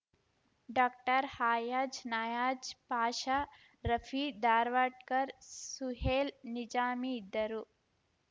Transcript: doctor Hayaz Nayaz Pasha Rafi Dharwadkar Suhail Nizami ಇದ್ದರು